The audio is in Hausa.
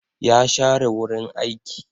Ya share wurin aiki.